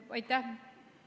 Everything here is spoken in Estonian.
Aitäh!